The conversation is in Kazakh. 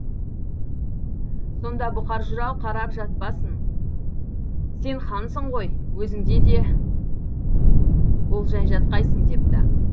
сонда бұқар жырау қарап жатпаспын сен хансың ғой өзіңде де болжай жатқайсың депті